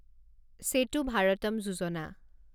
সেতু ভাৰতম যোজনা